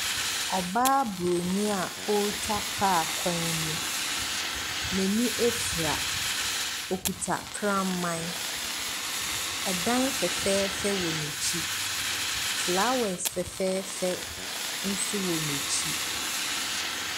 Ɔbaa buroni a ɔretwa kaa kwan mu. N'ani afura. Ɔkuta kraman. Ɛdan fɛfɛɛfɛ wɔ n'akyi. Flowers fɛfɛɛfɛ nso wɔ n'akyi.